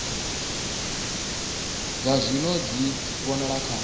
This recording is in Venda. dza zwino dzi vhonala kha